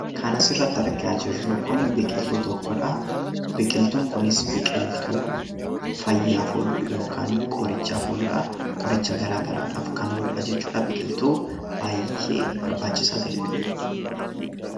Kan asirratti argaa jirru Kun, biqiltuu tokkodha. Biqiltuun kunis biqiltuu fayyaaf oolu yookaan qorichaaf ooludha . Qoricha garaagaraaf kan oolu biqiltuu baayyee barbaachisaa ta'edha.